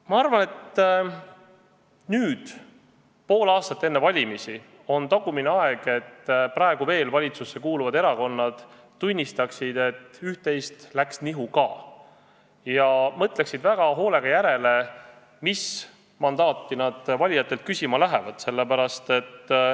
Ma arvan, et nüüd, pool aastat enne valimisi, on praegu veel valitsusse kuuluvatel erakondadel viimane aeg tunnistada, et üht-teist läks nihu ka, ja mõelda väga hoolega järele, mis mandaati nad valijatelt küsima lähevad.